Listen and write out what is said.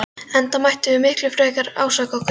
Enda mættum við miklu frekar ásaka okkur sjálf.